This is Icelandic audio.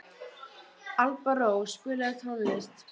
Alparós, spilaðu tónlist.